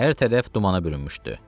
Hər tərəf dumana bürünmüşdü.